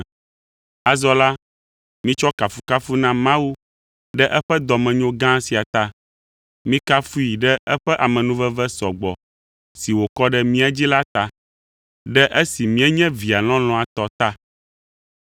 Azɔ la, mitsɔ kafukafu na Mawu ɖe eƒe dɔmenyo gã sia ta. Mikafui ɖe eƒe amenuveve sɔgbɔ si wòkɔ ɖe mía dzi la ta, ɖe esi míenye Via lɔlɔ̃a tɔ ta.